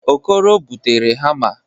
Okoro butere hamma.